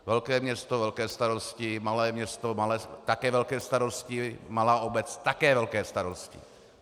Velké město, velké starosti, malé město, také velké starosti, malá obec, také velké starosti.